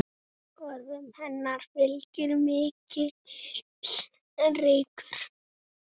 Orðum hennar fylgir mikill reykur.